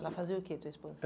Ela fazia o quê, tua esposa?